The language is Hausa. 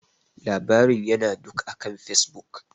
Labarin ya na duk akan Facebook.